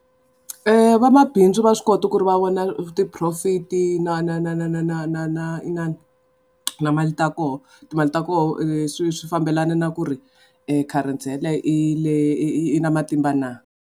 Vamabindzu va swi kota ku ri va vona ti-profit i na na na na na na na na inana na mali ta koho timali ta koho leswi swi fambelana na ku ri kharensi I le i na matimba na.